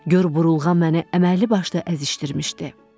Gör burulğan məni əməlli başlı əzişdirmişdi.